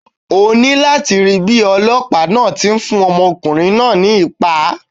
O ní láti rí bíi Ọlọ́pàá náà ti ń fún ọmọkùnrin náà ní ìpá.